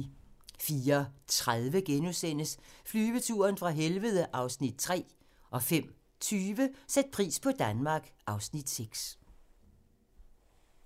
04:30: Flyveturen fra helvede (Afs. 3)* 05:20: Sæt pris på Danmark (Afs. 6)